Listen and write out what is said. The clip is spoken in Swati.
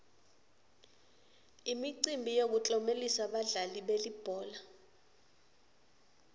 imicimbi yokutlomelisa badlali belibhola